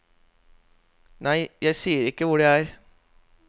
Nei, jeg sier ikke hvor det er.